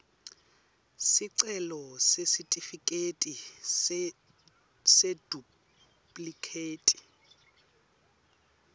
sicelo sesitifiketi seduplikhethi